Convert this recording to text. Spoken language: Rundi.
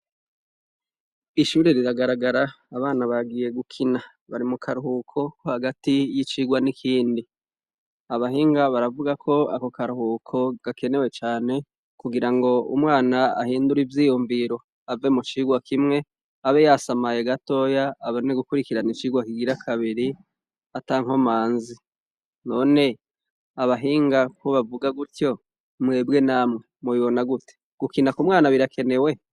Ishure riragaragara, abana bagiye gukina. Bari mukaruhuko ko hagati y'icirwa n'ikindi. Abahinga baravugako ako karuhuka gakenewe cane kugirango umwana ahindure ivyiyumviro ave mu cirwa kimwe abe yasamaye gatoya abone gukurikirana icirwa kigora kabiri atankomanzi. None abahinga ko bavuga gutyo, mwebwe namwe? mubibona gute? gukina ku mwana birakenewe?